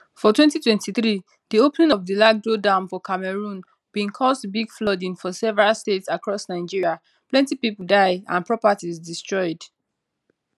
for 2023 di opening of di lagdo dam for cameroon bin cause big flooding for several states across nigeria plenty pipo die and and properties destroyed